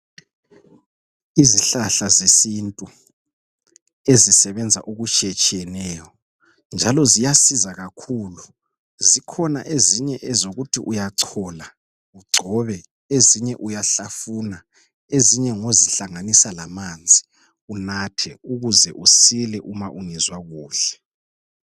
Izihlahla zesintu ,ezisebenza okutshiyetshiyeneyo njalo ziyasiza kakhulu. Zikhona ezinye ezokuthi uyachola, ugcobe, ezinye uyahlafuna ezinye ngozihlanganisa lamanzi unathe ukuze usile uma ungezwa kuhle.